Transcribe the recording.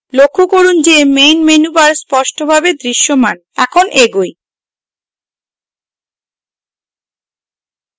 লক্ষ্য করুন যে এখন main menu bar স্পষ্টরূপে দৃশ্যমান এখন এগোই